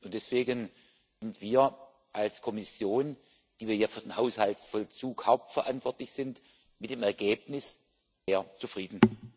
Deswegen sind wir als Kommission, die wir ja für den Haushaltsvollzug hauptverantwortlich sind, mit dem Ergebnis sehr zufrieden.